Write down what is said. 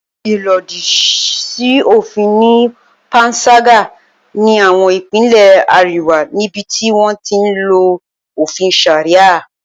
Ìlòdì sí òfin ni panṣágà ní àwọn Ìpínlẹ̀ àríwá níbi tí wọ́n ti ń lo òfin Sharia